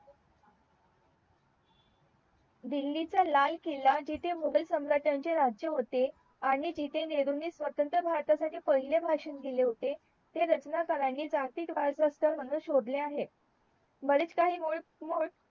दिल्ली चा लाल किला जिथे मुघल सम्राटांचे राज्य होते आणि जिथे नेहरूंनी स्वतंत्र भारतासाठी पहिले भाषण दिले होते ते रचनाकारणी जातीतवाद म्हणून शोधले आहे मधीच काही